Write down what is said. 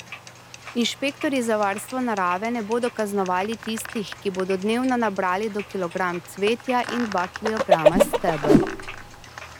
Inšpektorji za varstvo narave ne bodo kaznovali tistih, ki bodo dnevno nabrali do kilogram cvetja in dva kilograma stebel.